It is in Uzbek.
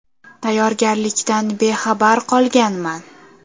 Tayyorgarlikdan bexabar qolganman.